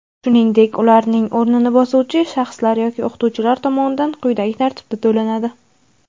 shuningdek ularning o‘rnini bosuvchi shaxslar yoki o‘qituvchilar tomonidan quyidagi tartibda to‘lanadi:.